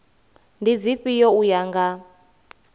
ndi dzifhio u ya nga